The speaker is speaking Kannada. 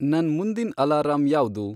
ನನ್ ಮುಂದಿನ್ ಅಲಾರಂ ಯಾವ್ದು